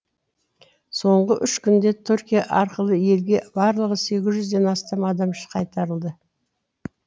соңғы үш күнде түркия арқылы елге барлығы сегіз жүзден астам адам қайтарылды